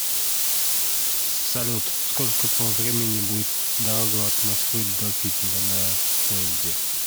салют сколько по времени будет дорога от москвы до питера на поезде